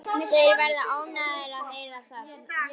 Þeir verða ánægðir að heyra það.